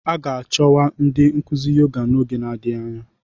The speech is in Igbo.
A ga-achọkwu ndị nkuzi Yoga n'oge adịghị anya